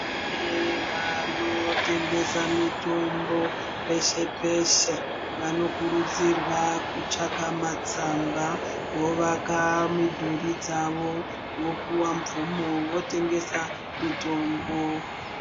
Kune vanotengesa mutombo peshe peshe vanokuridzirwa kutsvaga matsamba vovaka mudhuri dzavo vopiwa mvumo votengesa mitombo.